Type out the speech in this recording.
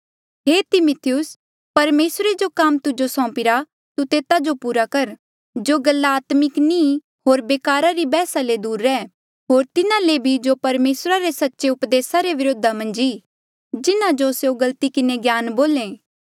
हे तिमिथियुस परमेसरे जो काम तुजो सौंपी रा तू तेता जो पूरा कर जो गल्ला आत्मिक नी होर बेकारा री बैहसा ले दूर रह होर तिन्हा ले भी जो परमेसरा रे सच्चे उपदेसा रे व्रोधा मन्झ ई जिन्हा जो स्यों गलती किन्हें ज्ञान बोले